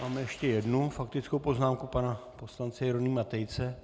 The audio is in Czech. Máme ještě jednu faktickou poznámku - pana poslance Jeronýma Tejce.